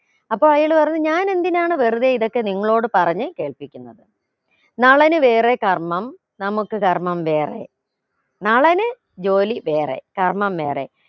അപ്പൊ അയാൾ പറഞ്ഞു ഞാൻ എന്തിനാണ് വെറുതെ ഇതൊക്കെ നിങ്ങളോട് പറഞ്ഞു കേൾപ്പിക്കുന്നത് നളന് വേറെ കർമ്മം നമുക്ക് കർമ്മം വേറെ നളന് ജോലി വേറെ കർമ്മം വേറെ